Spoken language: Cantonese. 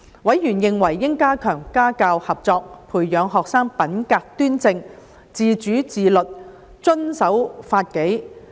委員認為應加強家校合作，培養學生品格端正、自主自律、遵守法紀。